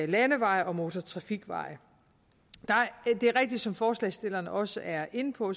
landeveje og motortrafikveje som forslagsstillerne også er inde på